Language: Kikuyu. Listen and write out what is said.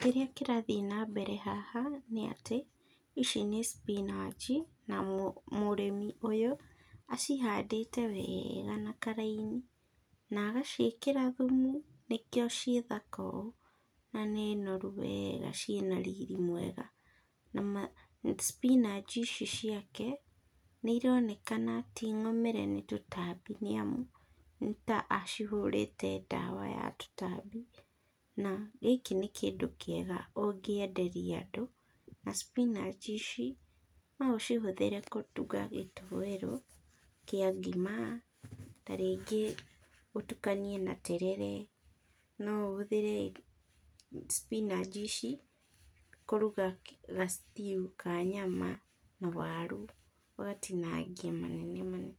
Kĩrĩa kĩrathiĩ na mbere haha, nĩ atĩ, ici nĩ spinach na mũrĩmi ũyũ, acihandĩte wega na karaini, nagaciĩkĩra thumu, nĩkĩo ciĩ thaka ũũ, na nĩ noru wega, ciĩna riri mwega, na ma spinach ici ciake, nĩironekana ti ng'umĩre nĩ tũtambi, nĩ amu, nĩta acihũrĩte ndawa ya tũtambi, na gĩkĩ nĩ kĩndũ kĩega ũngĩenderia andũ, na spinach ici, noũcihũthĩre kũruga gĩtoero kĩa ngima, ta rĩngĩ ũtukanie na terere, noũhũthĩre spinach ici kũruga ga- stew ka nyama na waru, ũgatinangia manene manene,